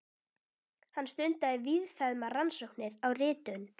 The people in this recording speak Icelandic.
Hann stundaði víðfeðmar rannsóknir á ritun